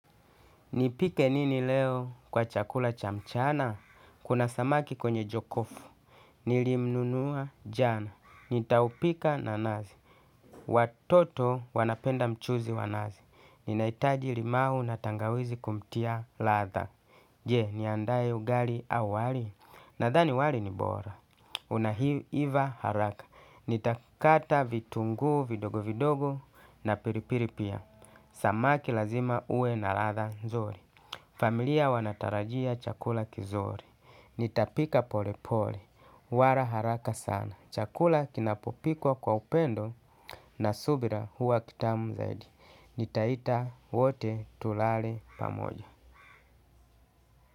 Nipike nini leo kwa chakula cha mchana? Kuna samaki kwenye jokofu. Nilimnunua jana. Nitaupika na nazi. Watoto wanapenda mchuzi wa nazi. Ninahitaji limau na tangawizi kumtia latha. Je, niandaye ugali au wali. Nathani wali ni bora. Una iva haraka. Nitakata vitunguu vidogo vidogo na piripiri pia. Samaki lazima ue na latha nzuri. Familia wanatarajia chakula kizuri. Nitapika pole pole. Wara haraka sana. Chakula kinapopikwa kwa upendo na subira huwa kitamu zaidi. Nitaita wote tulale pamoja.